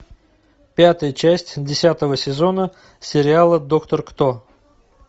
пятая часть десятого сезона сериала доктор кто